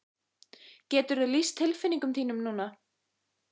Geturðu lýst tilfinningum þínum núna?